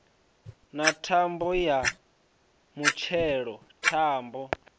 na thambo ya mutshelo thambo